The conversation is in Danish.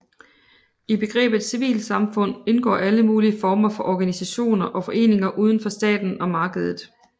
I begrebet civilsamfund indgår alle mulige former for organisationer og foreninger uden for staten og markedet